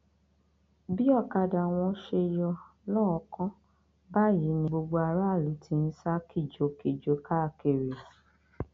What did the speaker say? bí ọkadà wọn ṣe yọ lọọọkán báyìí ni gbogbo aráàlú ti ń sá kìjokìjo káàkiri